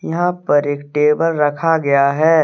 यहाँ पर एक टेबल रखा गया है।